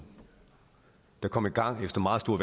der kom i gang efter meget store